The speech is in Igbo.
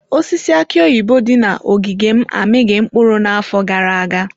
Osisi aki oyibo dị na ogige m amịghị mkpụrụ n'afọ gara aga.